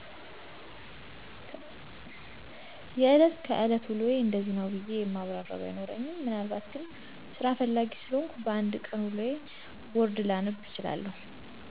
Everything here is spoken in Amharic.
የእለት ከእለት ውሎየ እንደዚህ ነው ብየ የማብራርው ባይኖርኝም ምናልባት ግን ሰራ ፍላጌ ሰለሆንኩ በ አንድ ቀን ውሎየን ቦርድ ላነብ እችላለው።